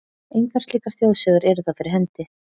Engar slíkar þjóðsögur eru þó fyrir hendi.